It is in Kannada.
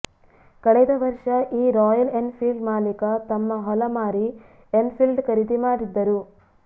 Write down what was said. ಕಳೆದ ವರ್ಷ ಈ ರಾಯಲ್ ಎನ್ ಫೀಲ್ಡ್ ಮಾಲೀಕ ತಮ್ಮ ಹೊಲ ಮಾರಿ ಎನ್ ಫೀಲ್ಡ್ ಖರೀದಿ ಮಾಡಿದ್ದರು